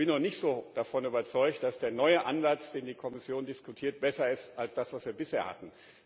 Ich bin noch nicht so davon überzeugt, dass der neue Ansatz, den die Kommission diskutiert, besser ist als das, was wir bisher hatten.